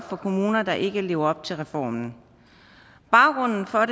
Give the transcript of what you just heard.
for kommuner der ikke lever op til reformen baggrunden for